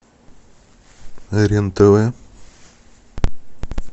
рен тв